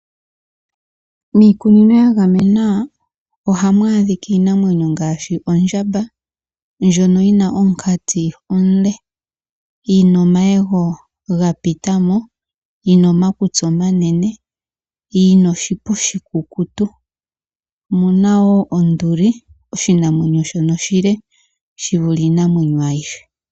Miikunino ya gamenwa ohamu adhika iinamwenyo ngaashi ondjamba, ndjono yi na omunkati omule, yi na omayego ga pita mo, yi na omakutsi omanene, yi na oshipa oshikukutu. Omu na wo onduli, oshinamwenyo shono oshile shi vule iinamwenyo ayihe.